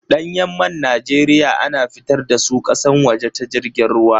Ɗanyan man Najeriya a na fitar da su ƙasan waje ta jirgin ruwa.